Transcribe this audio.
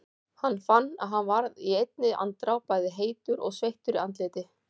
Hann fann að hann varð í einni andrá bæði heitur og sveittur í andliti.